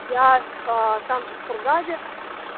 я аа там же в кургаде